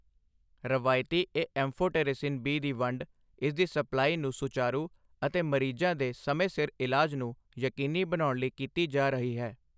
ਰਵਾਇਤੀ amphotericin B ਦੀ ਵੰਡ ਇਸਦੀ ਸਪਲਾਈ ਨੂੰ ਸੁਚਾਰੂ ਅਤੇ ਮਰੀਜ਼ਾਂ ਦੇ ਸਮੇਂ ਸਿਰ ਇਲਾਜ ਨੂੰ ਯਕੀਨੀ ਬਣਾਉਣ ਲਈ ਕੀਤੀ ਜਾ ਰਹੀ ਹੈ।